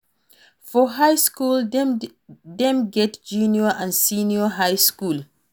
For high school dem get junior and senior high school